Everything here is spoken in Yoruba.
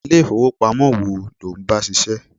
Ilé ifowopamo wo lo ń bá ṣiṣẹ́?